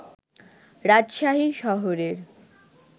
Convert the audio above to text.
রাজশাহী শহরের